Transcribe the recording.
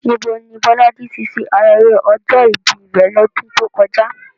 Níbo ni Bolaji ti ṣe ayẹyẹ ọjọ́ ìbí rẹ̀ lọ́dún tó kọjá?